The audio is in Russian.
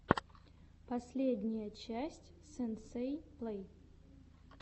последняя часть сенсей плей